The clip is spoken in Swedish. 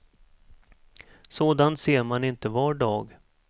Sådant ser man inte var dag.